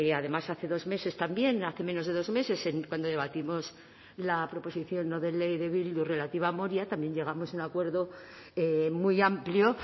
además hace dos meses también hace menos de dos meses cuando debatimos la proposición no de ley de bildu relativa a moria también llegamos a un acuerdo muy amplio